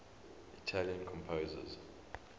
italian composers